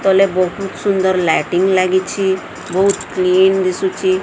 ତଳେ ବହୁତ ସୁନ୍ଦର ଲାଇଟିଙ୍ଗ ଲାଗିଛି ବହୁତ କ୍ଲିନ ଦିଶୁଚି।